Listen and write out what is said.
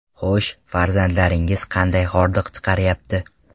Xo‘sh, farzandlaringiz qanday hordiq chiqaryapti?